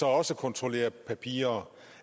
også kontrollere papirer